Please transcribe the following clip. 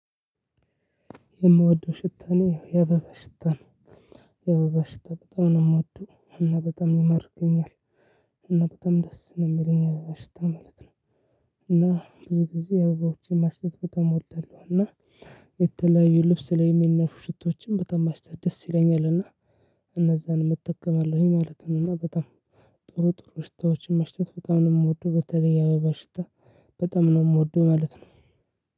የምወደው ሽታ እኔ የአበባ ሽታ ነው። የአበባ ሽታ በጣም ነው ምወደው እና በጣም ይማርከኛል እና በጣም ደስ ነው ሚለኝ የአበባ ሽታ ማለት ነው። እና ብዙ ጊዜ የአበባዎችን ማሽተት በጣም እወዳለሁ እና የተለያዩ ልብስ ላይ ሚነፉ ሽቶዎችን በጣም ማሽተት ደስ ይለኛል ይለኛልና እና እነዛን እጠቀማለሁኝ ማለት ነው እና በጣም ጥሩ ጥሩ ሽታዎችን ማሽተት በጣም ነው ምወደው በተለይ የአበባ ሽታ በጣም ነው ምወደው ማለት ነው።